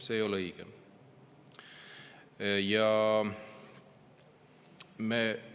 See ei ole õige!